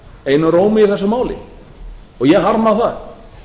einum rómi í þessu máli og ég harma það